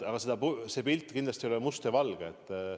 Aga see pilt kindlasti ei ole must ja valge.